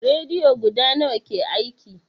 Rediyo guda nawa ke aiki?